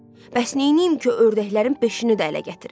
Bəs neyniyim ki, ördəklərin beşini də ələ gətirim?